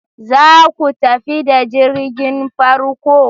Za ku tafi da jirgin farko?